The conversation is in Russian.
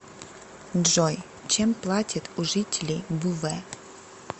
джой чем платят у жителей буве